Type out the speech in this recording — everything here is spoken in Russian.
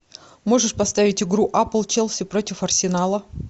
можешь поставить игру апл челси против арсенала